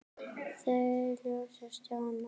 Þau hlógu öll- Stjáni líka.